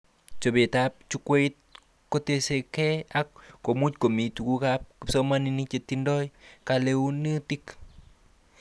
Chobetab jukwait kotesakei ak komuch komi tugukab kisomanink chetindoi keleutik